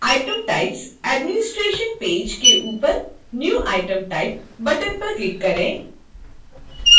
item types administration page के ऊपर new item type button पर click करें